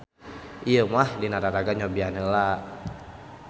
Ieu mah dina raraga nyobian heula.